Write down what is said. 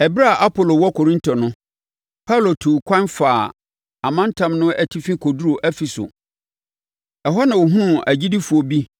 Ɛberɛ a Apolo wɔ Korinto no, Paulo tuu ɛkwan faa ɔmantam no atifi kɔduruu Efeso. Ɛhɔ na ɔhunuu agyidifoɔ bi